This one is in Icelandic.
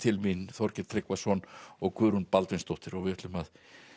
Þorgeir Tryggvason og Guðrún Baldvinsdóttir og við ætlum að